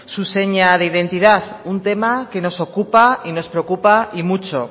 su seña de identidad un tema que nos ocupa y nos preocupa y mucho